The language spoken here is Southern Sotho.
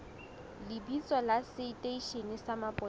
lebitso la seteishene sa mapolesa